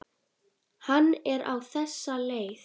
Hann er á þessa leið